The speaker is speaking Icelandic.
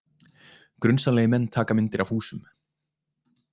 Grunsamlegir menn taka myndir af húsum